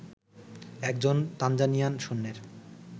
একজন তানজানিয়ান সৈন্যের